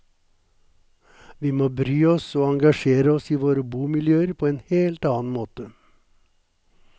Vi må bry oss og engasjere oss i våre bomiljøer på en helt annen måte.